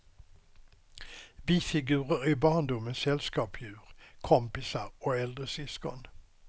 Bifigurer är barndomens sällskapsdjur, kompisar och äldre syskon.